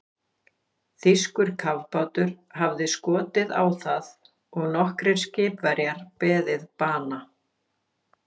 Þýskur kafbátur hafði skotið á það og nokkrir skipverjar beðið bana.